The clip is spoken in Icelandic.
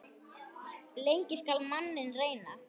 Lengi skal manninn reyna.